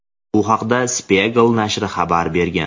Bu haqda "Spiegel" nashri xabar bergan.